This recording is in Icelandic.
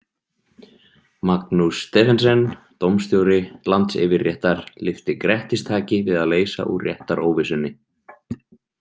Magnús Stephensen, dómstjóri Landsyfirréttar, lyfti grettistaki við að leysa úr réttaróvissunni.